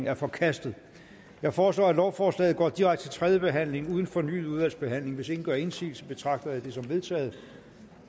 er forkastet jeg foreslår at lovforslaget går direkte til tredje behandling uden fornyet udvalgsbehandling hvis ingen gør indsigelse betragter jeg det som vedtaget